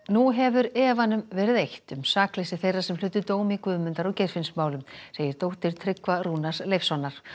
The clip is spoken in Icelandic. nú hefur efanum verið eytt um sakleysi þeirra sem hlutu dóm í Guðmundar og Geirfinnsmálum segir dóttir Tryggva Rúnars Leifssonar